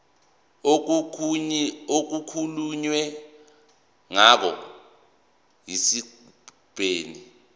okukhulunywe ngawo esigabeni